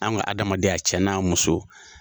Anw ka adamaden a cɛ n'an muso.